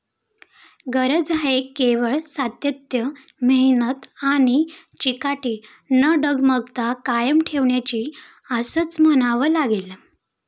गरज आहे केवळ सातत्य, मेहनत आणि चिकाटी न डगमगता कायम ठेवण्याची असंच म्हणावं लागेल.